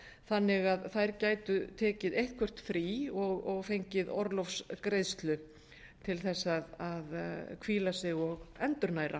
þannig að þær gætu tekið eitthvert frí og fengið orlofsgreiðslu til þess að hvíla sig og endurnæra